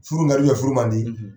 Furu in ka di furu man di